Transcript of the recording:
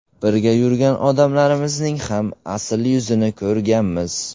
Birga yurgan odamlarimizning ham asl yuzini ko‘rganmiz.